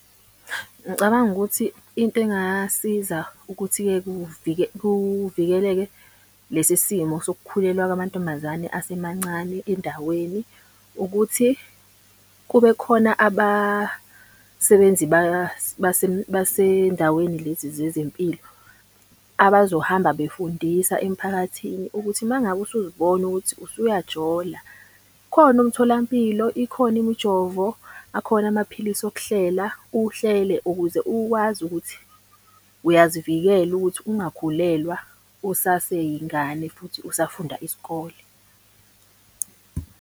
Ngicabanga ukuthi into engasiza ukuthi-ke kuvikeleke lesi simo sokukhulelwa kwamantombazane asemancane endaweni, ukuthi kube khona abasebenzi basendaweni lezi zezempilo. Abazohamba befundisa emphakathini ukuthi uma ngabe usuzibona ukuthi usuyajola, ukhona umtholampilo, ikhona imijovo, akhona amaphilisi wokuhlela. Uhlele ukuze ukwazi ukuthi uyazivikela ukuthi ungakhulelwa usaseyingane, futhi usafunda isikole.